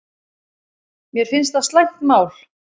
Mér finnst það slæmt mál